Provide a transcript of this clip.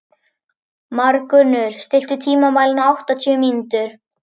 Margunnur, stilltu tímamælinn á áttatíu mínútur.